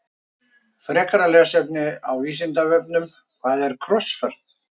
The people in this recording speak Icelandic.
Frekara lesefni á Vísindavefnum Hvað er krossferð?